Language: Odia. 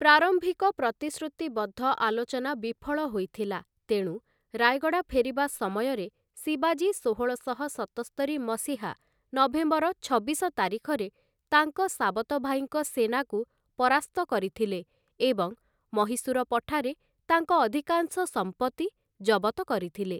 ପ୍ରାରମ୍ଭିକ ପ୍ରତିଶ୍ରୁତିବଦ୍ଧ ଆଲୋଚନା ବିଫଳ ହୋଇଥିଲା, ତେଣୁ ରାୟଗଡ଼ା ଫେରିବା ସମୟରେ, ଶିବାଜୀ ଷୋହଳଶହ ସତସ୍ତରି ମସିହା ନଭେମ୍ବର ଛବିଶ ତାରିଖରେ ତାଙ୍କ ସାବତଭାଇଙ୍କ ସେନାକୁ ପରାସ୍ତ କରିଥିଲେ ଏବଂ ମହୀଶୂର ପଠାରେ ତାଙ୍କ ଅଧିକାଂଶ ସମ୍ପତ୍ତି ଜବତ କରିଥିଲେ ।